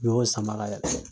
N ɲɔ y'o sama ka